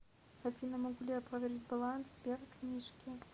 афина могу ли я проверить баланс сбер книжки